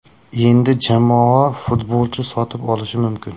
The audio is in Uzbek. Endi jamoa futbolchi sotib olishi mumkin.